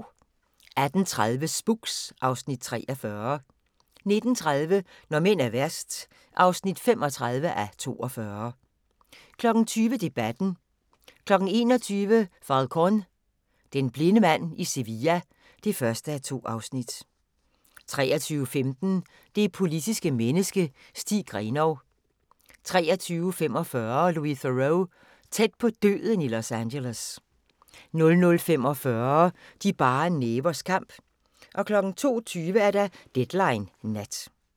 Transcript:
18:30: Spooks (Afs. 43) 19:30: Når mænd er værst (35:42) 20:00: Debatten 21:00: Falcón: Den blinde mand i Sevilla (1:2) 23:15: Det politiske menneske – Stig Grenov 23:45: Louis Theroux: Tæt på døden i Los Angeles 00:45: De bare nævers kamp 02:20: Deadline Nat